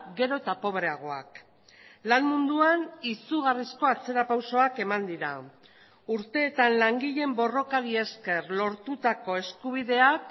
gero eta pobreagoak lan munduan izugarrizko atzerapausoak eman dira urteetan langileen borrokari esker lortutako eskubideak